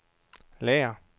lager